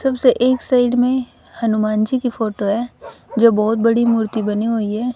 सबसे एक साइड में हनुमान जी की फोटो है जो बहोत बड़ी मूर्ति बनी हुई है।